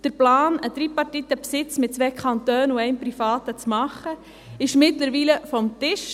Der Plan, einen tripartiten Besitz mit zwei Kantonen und einem Privaten zu machen, ist mittlerweile vom Tisch.